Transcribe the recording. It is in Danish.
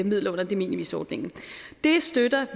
midler under de minimis ordningen det støtter